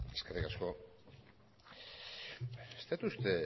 eskerrik asko ez dut uste